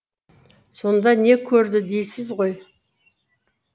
сонда не көрді дейсіз ғой